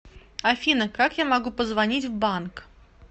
афина как я могу позвонить в банк